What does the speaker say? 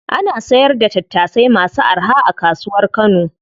Ana sayar da tattasai masu araha a kasuwar kano.